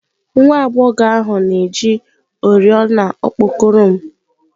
Nwa agbọghọ ahụ na-eji oriọna okpokoro m